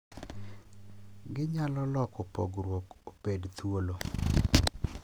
Ginyalo loko pogruok obed thuolo